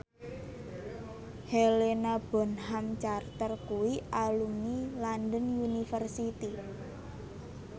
Helena Bonham Carter kuwi alumni London University